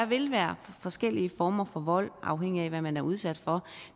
vil være forskellige former for vold afhængig af hvad man er udsat for